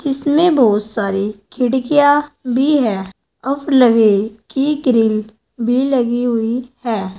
इसमें बहुत सारी खिड़कियां भी है और लवे की ग्रिल भी लगी हुई है।